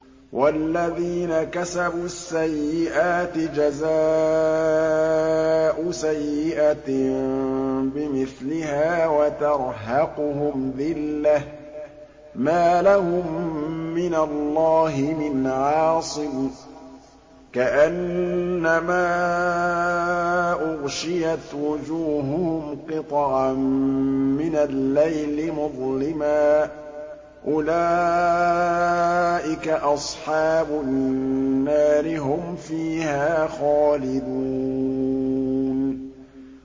وَالَّذِينَ كَسَبُوا السَّيِّئَاتِ جَزَاءُ سَيِّئَةٍ بِمِثْلِهَا وَتَرْهَقُهُمْ ذِلَّةٌ ۖ مَّا لَهُم مِّنَ اللَّهِ مِنْ عَاصِمٍ ۖ كَأَنَّمَا أُغْشِيَتْ وُجُوهُهُمْ قِطَعًا مِّنَ اللَّيْلِ مُظْلِمًا ۚ أُولَٰئِكَ أَصْحَابُ النَّارِ ۖ هُمْ فِيهَا خَالِدُونَ